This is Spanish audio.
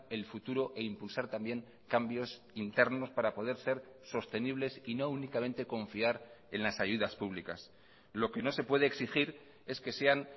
el futuro e impulsar también cambios internos para poder ser sostenibles y no únicamente confiar en las ayudas públicas lo que no se puede exigir es que sean